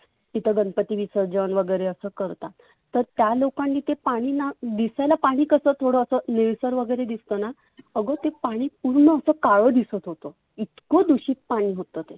तिथ गणपती विसर्जन वगैरे अस करतात. तर त्या लोकांनी ते पाणि ना दिसायला पाणि ना थोडस निळसर वगैरे दिसतना, आग ते पाणि पुर्ण असं काळ दिसत होतं. इतक दुषीत पाणि होतं ते.